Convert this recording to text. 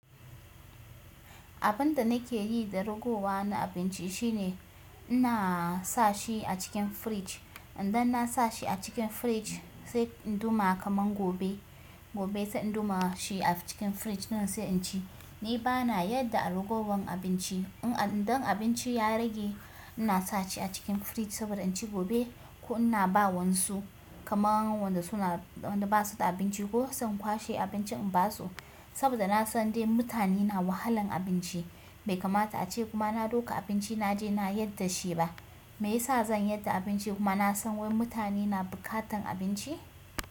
Abinda nake yi da ragowa na abinci shine ina sa shi a cikin fridge. Idan na sa shi a cikin fridge sai in ɗuma kaman gobe, gobe sai in ɗuma shi a cikin fridge ɗin sai in ci. Ni bana yar da a ragowar abinci. Idan abinci ya rage ina sa shi a cikin fridge sabida in ci gobe ko ina ba waƴansu kaman wanda suna, wanda basu da abinci ko sai in kwashe abincin in ba su. Sabida na san dai mutane na wahalan abinci. Bai kamata ace kuma na ɗauka abinci naje na yar da shi ba. Me yasa zan yar da abincin kuma na san wai mutane na buƙatan abinci?